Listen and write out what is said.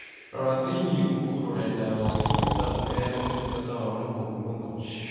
Rora thĩinĩ Google rũrenda rũa tũita ũmeera ũtungata wao nĩ mũũru mũno